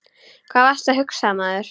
Hvað varstu að hugsa maður?